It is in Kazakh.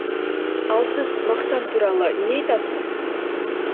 ал сіз мақтан туралы не айтасыз